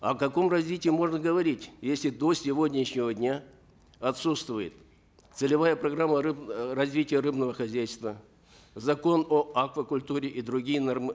о каком развитии можно говорить если до сегодняшнего дня отсутствует целевая программа развития рыбного хозяйства закон о аквакультуре и другие